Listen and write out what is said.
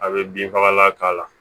A bɛ bin fagalan k'a la